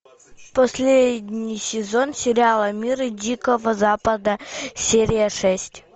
последний сезон сериала мир дикого запада серия шесть